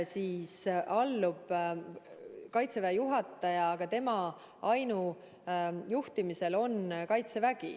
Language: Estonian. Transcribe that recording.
Kaitseväe juhataja küll allub kaitseministrile, aga Kaitseväge juhib ta ainujuhtimise põhimõttel.